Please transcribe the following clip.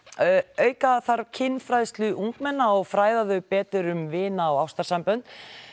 auka þarf kynfræðslu ungmenna og fræða þau betur um vina og ástarsambönd